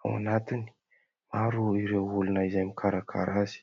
ao anatiny maro ireo olona izay mikarakara azy.